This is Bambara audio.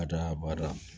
Ka d'a kan baara